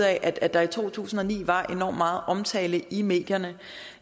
af at der i to tusind og ni var enormt meget omtale i medierne